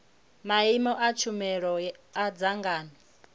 maimo a tshumelo a dzangano